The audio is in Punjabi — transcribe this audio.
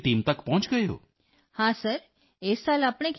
ਅੱਛਾ ਤੁਹਾਡਾ ਟਾਰਗੇਟ 100 ਮਹਿਲਾਵਾਂ ਤੱਕ ਹੈ so your target is 100 woman